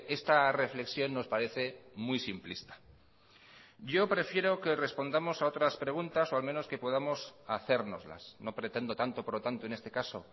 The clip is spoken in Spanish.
esta reflexión nos parece muy simplista yo prefiero que respondamos a otras preguntas o al menos que podamos hacérnoslas no pretendo tanto por lo tanto en este caso